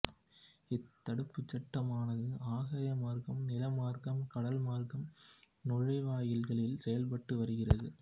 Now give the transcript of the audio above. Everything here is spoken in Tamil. இத்தடுப்புச் சட்டமானது ஆகாய மார்க்கம் நிலமார்க்கம் கடல் மார்க்க நுழைவாயில்களில் செயல்பட்டு வருகிறது